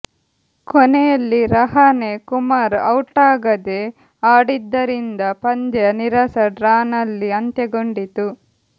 ಕೊನೆಯಲ್ಲಿ ರಹಾನೆ ಕುಮಾರ್ ಔಟಾಗದೆ ಆಡಿದ್ದರಿಂದ ಪಂದ್ಯ ನೀರಸ ಡ್ರಾನಲ್ಲಿ ಅಂತ್ಯಗೊಂಡಿತು